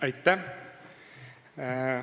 Aitäh!